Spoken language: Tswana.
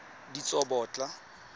ditsobotla